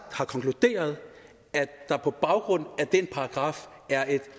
har konkluderet at der på baggrund af den paragraf er et